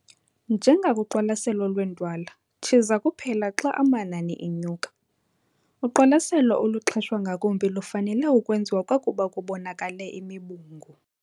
Njengakuqwalaselo lweentwala, tshiza kuphela xa amanani enyuka. Uqwalaselo oluxheshwa ngakumbi lufanele ukwenziwa kwakuba kubonakale imibungu.